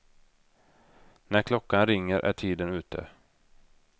När klockan ringer är tiden ute.